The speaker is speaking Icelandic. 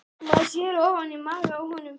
Maður sér ofan í maga á honum